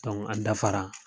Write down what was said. Dɔnku an dafara